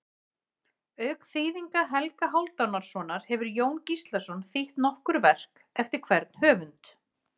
Auk þýðinga Helga Hálfdanarsonar hefur Jón Gíslason þýtt nokkur verk eftir hvern höfund.